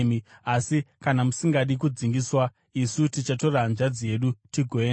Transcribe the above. Asi kana musingadi kudzingiswa, isu tichatora hanzvadzi yedu tigoenda.”